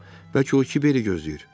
Bəlkə o kiveri gözləyir.